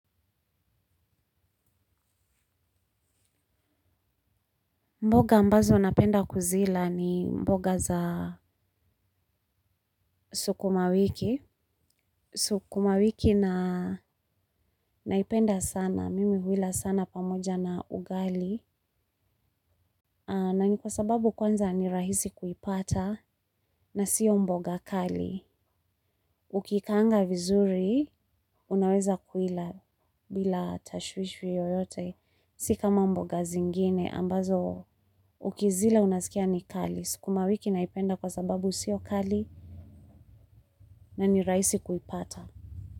Mboga ambazo napenda kuzila ni mboga za sukuma wiki. Sukuma wiki naipenda sana, mimi huila sana pamoja na ugali. Na ni kwa sababu kwanza ni rahisi kuipata na siyo mboga kali. Ukikaanga vizuri, unaweza kuila bila tashwishi yoyote. Si kama mboga zingine, ambazo ukizila unaskia ni kali. Sukuma wiki naipenda kwa sababu siyo kali. Na ni rahisi kuipata.